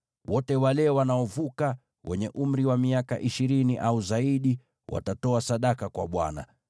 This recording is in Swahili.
Wote wale wanaovuka, wenye umri wa miaka ishirini au zaidi, watatoa sadaka kwa Bwana .